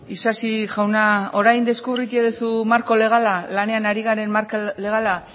isasi jauna orain deskubritu duzu marko legala lanean ari garen marko legala